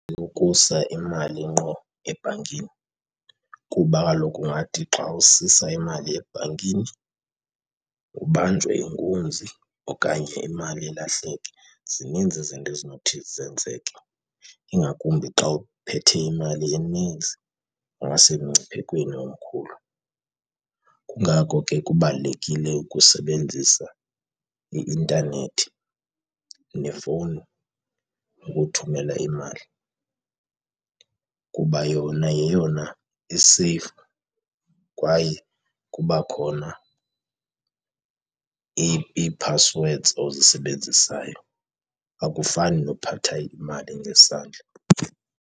Ukusa imali ngqo ebhankini kuba kaloku ungathi xa usisa imali ebhankini ubanjwe inkunzi okanye imali ilahleke zininzi izinto ezinothi zenzeke, ingakumbi xa uphethe imali enintsi ungasemngciphekweni omkhulu. Kungako ke kubalulekile ukusebenzisa i-intanethi nefowuni ukuthumela imali kuba yona yeyona iseyfu kwaye kuba khona ii-passwords ozisebenzisayo. Akufani nokuphatha imali ngesandla.